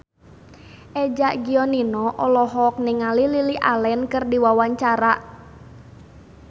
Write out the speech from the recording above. Eza Gionino olohok ningali Lily Allen keur diwawancara